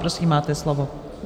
Prosím, máte slovo.